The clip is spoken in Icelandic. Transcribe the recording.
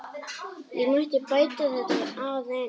Ég mætti bæta þetta aðeins.